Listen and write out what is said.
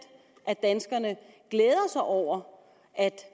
af danskerne glæder sig over at